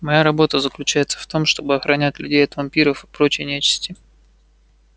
моя работа заключается в том чтобы охранять людей от вампиров и прочей нечисти